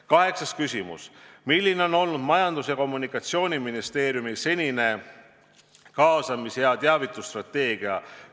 Kaheksas küsimus: "Milline on olnud Majandus- ja Kommunikatsiooniministeeriumi senine kaasamis- ja teavitusstrateegia?